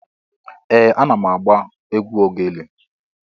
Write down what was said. Ee! Ana m agba egwu ogele.